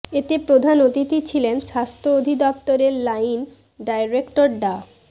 এতে প্রধান অতিথি ছিলেন স্বাস্থ্য অধিদপ্তরের লাইন ডাইরেক্টর ডা